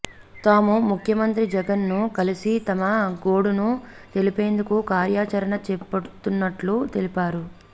తాము ముఖ్యమంత్రి జగన్ ను కలిసి తమ గోడును తెలిపేందుకు కార్యాచరణ చేపడుతున్నట్లు తెలిపారు